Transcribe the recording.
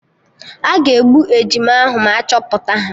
Aga egbu ejima ahụ ma achọpụta ha